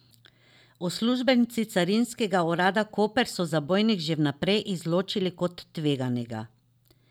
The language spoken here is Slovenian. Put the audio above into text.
Uslužbenci Carinskega urada Koper so zabojnik že vnaprej izločili kot tveganega.